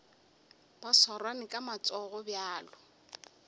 ba swarane ka matsogo bjalo